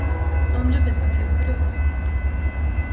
он любит вас я говорю вам